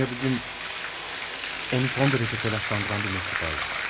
Dünya bugün onu son derece telaşlandıran bir mektup aldı.